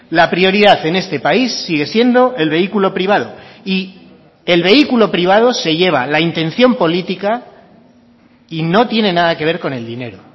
la prioridad en este país sigue siendo el vehículo privado y el vehículo privado se lleva la intención política y no tiene nada que ver con el dinero